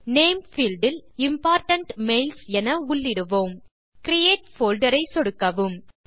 name field இல் important mails என உள்ளிடுவோம் கிரியேட் போல்டர் ஐ சொடுக்கவும்